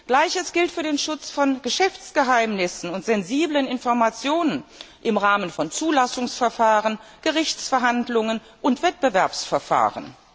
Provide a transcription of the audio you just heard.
Gleiches gilt für den Schutz von Geschäftsgeheimnissen und sensiblen Informationen im Rahmen von Zulassungsverfahren, Gerichtsverhandlungen und Wettbewerbsverfahren.